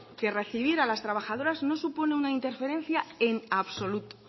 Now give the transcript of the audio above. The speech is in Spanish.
que recibir a las trabajadoras no supone una interferencia en absoluto